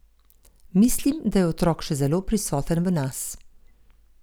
Mislim, da je otrok še zelo prisoten v nas.